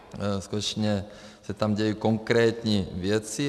Skutečně se tam dějí konkrétní věci.